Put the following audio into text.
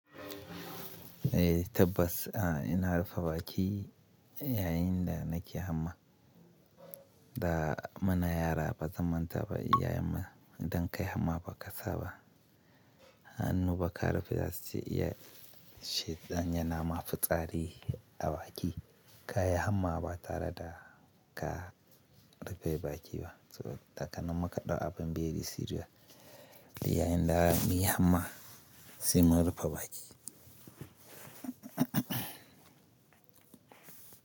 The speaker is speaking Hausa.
Eh tabbas a ina rufe baki yayinda nake hamma. Da mana yara ba zaman ta ba, iyayenmu idan kai hamma ba ka saba. Hannu ba ka rufe dasa iya shiɗan yana mafitsari a baki. Ka yi hamma ba tare da ka rufe bakiba. So da kanan muka ɗau abin biye di Syria. Yayinda miya hamma, sai mun rufe baki.